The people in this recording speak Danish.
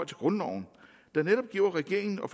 grundloven der netop giver regeringen og